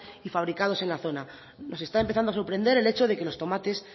y fabricados en la zona nos está empezando a sorprender el hecho de que los tomates